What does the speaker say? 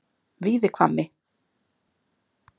Víðihvammi